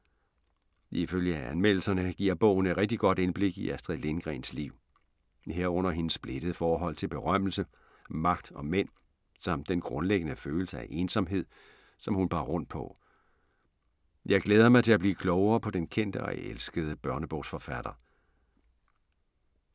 Ifølge anmeldelserne giver bogen et rigtig godt indblik i Astrid Lindgrens liv. Herunder hendes splittede forhold til berømmelse, magt og mænd samt den grundlæggende følelse af ensomhed, som hun bar rundt på. Jeg glæder mig til at blive klogere på den kendte og elskede børnebogsforfatter.